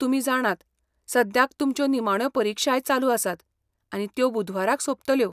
तुमी जाणात, सद्याक तुमच्यो निमाण्यो परीक्षाय चालू आसात आनी त्यो बुधवाराक सोंपतल्यो.